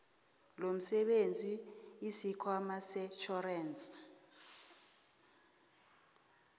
lomsebenzi isikhwama setjhorensi